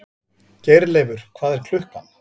Geirleifur, hvað er klukkan?